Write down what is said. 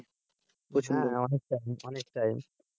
অনেকটাই অনেকেই